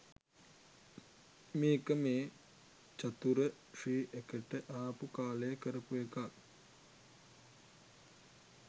මේක මේ චතුර ශ්‍රී එකට ආපු කාලෙ කරපු එකක්.